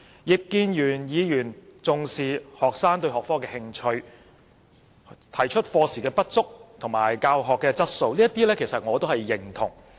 葉建源議員重視學生對學科的興趣、課時不足的問題和教學質素，這些我是認同的。